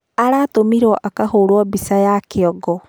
Aratũmirwo akahorwo bica ya kĩongo.